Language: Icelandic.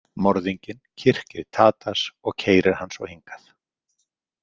Morðinginn kyrkir Tadas og keyrir hann svo hingað.